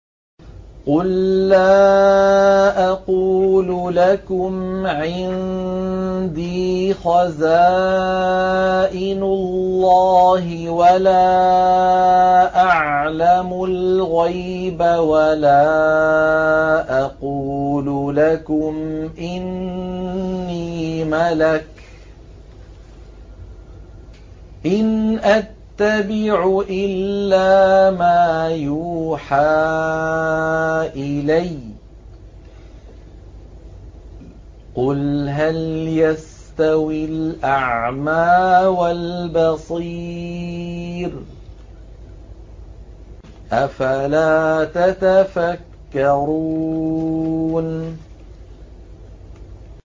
قُل لَّا أَقُولُ لَكُمْ عِندِي خَزَائِنُ اللَّهِ وَلَا أَعْلَمُ الْغَيْبَ وَلَا أَقُولُ لَكُمْ إِنِّي مَلَكٌ ۖ إِنْ أَتَّبِعُ إِلَّا مَا يُوحَىٰ إِلَيَّ ۚ قُلْ هَلْ يَسْتَوِي الْأَعْمَىٰ وَالْبَصِيرُ ۚ أَفَلَا تَتَفَكَّرُونَ